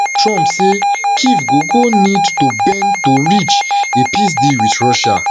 trump say kyiv go go need to bend to reach a peace deal with russia